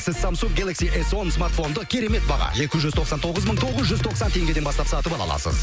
сіз самсунг гелакси эс он смартфонды керемет баға екі жүз тоқсан тоғыз мың тоғыз жүз тоқсан теңгеден бастап сатып ала аласыз